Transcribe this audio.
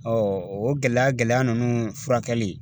o gɛlɛya gɛlɛya ninnu furakɛli